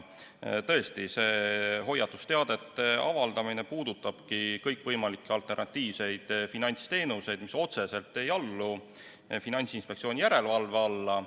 Tõesti, hoiatusteadete avaldamine puudutab kõikvõimalikke alternatiivseid finantsteenuseid, mis otseselt ei allu Finantsinspektsiooni järelevalvele.